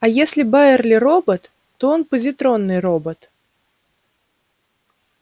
а если байерли робот то он позитронный робот